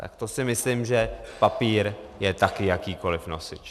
Tak to si myslím, že papír je také jakýkoliv nosič.